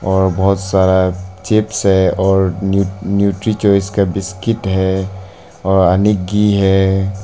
और बहुत सारा चिप्स है और न्यूट्री चॉइस का बिस्किट है और अनिक घी है।